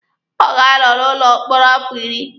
Ọ ga-anọ n'ụlọ mkpọrọ afọ iri.